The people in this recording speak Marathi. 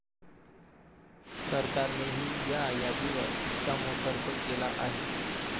सरकारनेही या यादीवर शिक्कामोर्तब केला आहे.